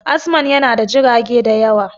Azman yana da jirage da yawa